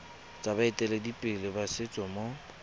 tsa baeteledipele ba setso mo